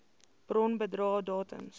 bron bedrae datums